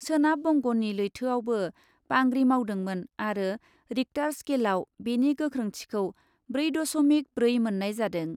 सोनाब बंगनि लैथोयावबो बांग्रि मावदोंमोन आरो रिक्टार स्केलआव बेनि गोख्रोंथिखौ ब्रै दस'मिक ब्रै मोन्नाय जादों।